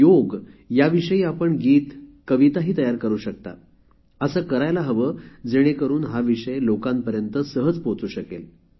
योग याविषयी आपण गीत कविता तयार करू शकता असे करायला हवे जेणेकरून हा विषय लोकांपर्यंत सहज पोहचू शकेल